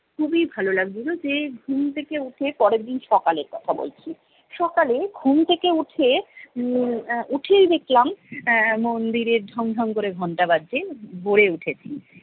খুবই ভালো লাগছিলো যে ঘুম থেকে উঠে পরের দিন সকালের কথা বলছি, সকালে ঘুম থেকে উঠে উম আহ উঠেই দেখলাম আহ মন্দিরে ঢং ঢং করে ঘন্টা বাজছে ভোরে উঠেছি